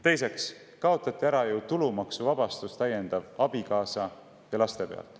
Teiseks kaotati ära täiendav tulumaksuvabastus abikaasa eest ja laste pealt.